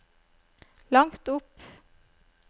langt opp